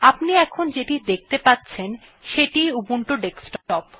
আপনি এখন যেটি দেখতে পাচ্ছেন সেটি ই উবুন্টু ডেস্কটপ